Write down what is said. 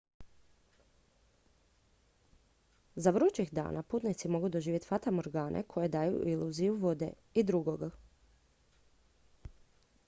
za vrućih dana putnici mogu doživjeti fatamorgane koje daju iluziju vode i drugog